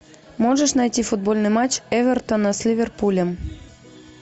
можешь найти футбольный матч эвертона с ливерпулем